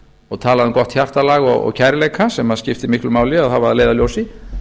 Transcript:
og talaði um gott hjartalag og kærleika sem skiptir miklu máli að hafa að leiðarljósi